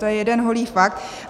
To je jeden holý fakt.